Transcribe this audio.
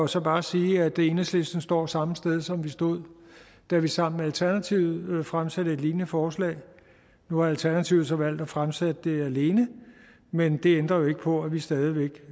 så bare sige at enhedslisten står samme sted som vi stod da vi sammen med alternativet fremsatte et lignende forslag nu har alternativet så valgt at fremsætte det alene men det ændrer ikke på at vi stadig væk